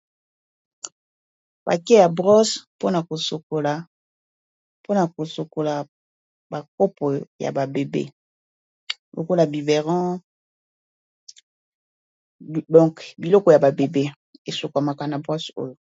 Pake ya brose mpona kosokola ba kopo ya ba bébé lokola biberon donc biloko ya ba bébé esokwamaka na brosse oyo.